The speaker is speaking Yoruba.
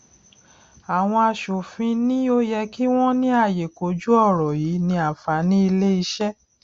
àwọn asòfin ni ó yẹ kí wọn ní àyè kojú ọrọ yìí ní àǹfàní ilé iṣé